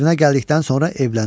Qəzvinə gəldikdən sonra evləndi.